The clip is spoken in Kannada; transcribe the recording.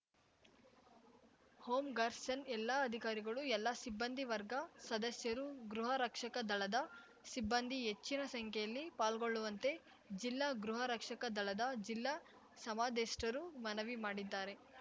ಹೋಂ ಗರ್ಸರ್ನ್ ಎಲ್ಲಾ ಅಧಿಕಾರಿಗಳು ಎಲ್ಲಾ ಸಿಬ್ಬಂದಿ ವರ್ಗ ಸದಸ್ಯರು ಗೃಹ ರಕ್ಷಕ ದಳದ ಸಿಬ್ಬಂದಿ ಹೆಚ್ಚಿನ ಸಂಖ್ಯೆಯಲ್ಲಿ ಪಾಲ್ಗೊಳ್ಳುವಂತೆ ಜಿಲ್ಲಾ ಗೃಹ ರಕ್ಷಕ ದಳದ ಜಿಲ್ಲಾ ಸಮಾದೇಷ್ಟರು ಮನವಿ ಮಾಡಿದ್ದಾರೆ